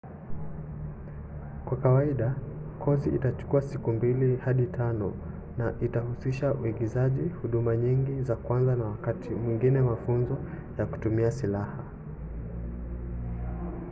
kwa kawaida kozi itachukua siku 2-5 na itahusisha uigizaji huduma nyingi za kwanza na wakati mwingine mafunzo ya kutumia silaha